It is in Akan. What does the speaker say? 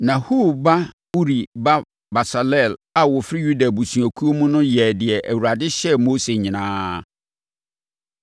Na Hur ba Uri ba Besaleel a ɔfiri Yuda abusuakuo mu no yɛɛ deɛ Awurade hyɛɛ Mose nyinaa.